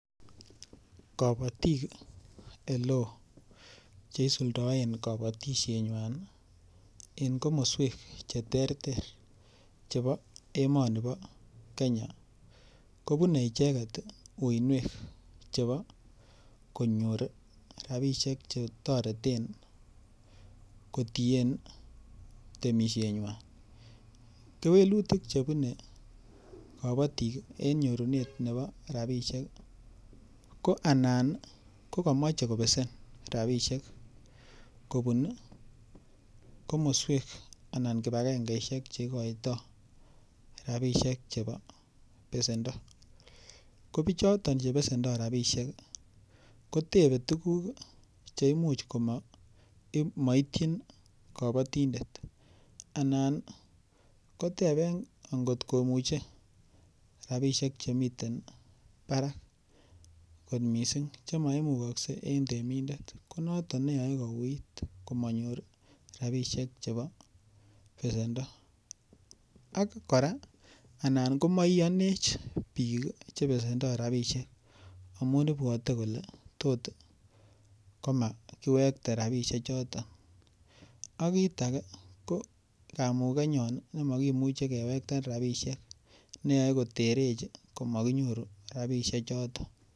Kobotik ele oo che isuldaen kobotishenywan en komoswek che terter en emoni bo Kenya kobune icheget uiynwek chebo konyor rabishek che toreten kotien temisienywan. Kewelutik chebune temik en nyorunet nebo rabisiek ko anan ko komoche kobesen rabishek kobun kooswek ana kipagengeishek cheigoitoi rabishek chebo besendo. Ko bichoton che besendo rabishek kotebe tuguk che imuch komaityin kobotindet anan koteben angot komuche rabishek chemiten barak kot mising che maimukokse en temindet ko noton neyoe kouuiyt komanyor rabishek chebo besendo ak kora anan komo iyonech biik che besendo rabisiek amun ibwote kole tot komakiwekte rabishek choto. Ak kiit age ko kamugenyon nemakimuche kiwekten rabishek ne yoe koterech komakinoru rabishek choto.